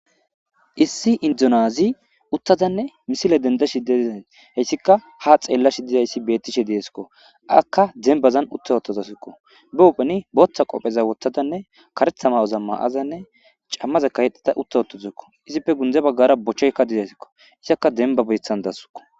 issi indonyazi uttadanne misile denda shidedizay heyssika ha xeellashi dizayssi bettishe deeskko akka dembazan utta ottazasikko be upheni booththa qopheza wottadanne karethama oza ma7azanne cammaze kahexata utta wottouzekko izipfe gundze baggara bochcheykka dizaysikko isakka denba beethan dasukko